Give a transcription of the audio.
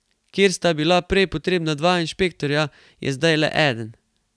Kjer sta bila prej potrebna dva inšpektorja, je zdaj le eden.